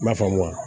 I m'a faamu wa